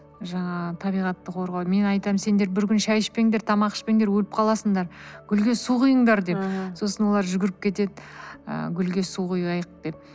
жаңағы табиғатты қорғау мен айтамын сендер бір күн шәй ішпеңдер тамақ ішпеңдер өліп қаласыңдар гүлге су құйыңдар деп сосын олар жүгіріп кетеды ы гүлге су құяйық деп